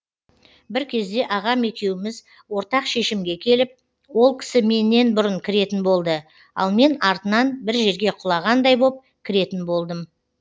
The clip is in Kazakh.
бір кезде ағам екеуміз ортақ шешімге келіп ол кісі меннен бұрын кіретін болды ал мен артынан бір жерге құлағандай боп кіретін болдым